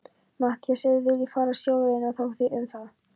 MATTHÍAS: Ef þið viljið fara sjóleiðina, þá þið um það.